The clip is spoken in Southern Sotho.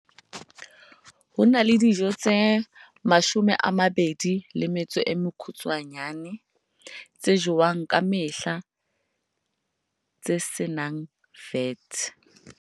Ho na le dijo tse 19 tse jowang ka mehla tse se nang VAT ha